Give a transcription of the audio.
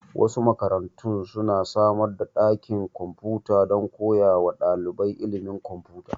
Wasu makarantun su na samar da ɗakin kwamfuta don koya wa ɗalibai ilimin kwamfuta